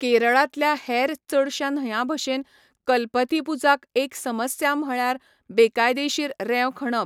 केरळांतल्या हेर चडशा न्हंयांभशेन कल्पथीपुझाक एक समस्या म्हळ्यार बेकायदेशीर रेंव खणप.